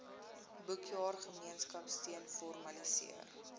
boekjaar gemeenskapsteun formaliseer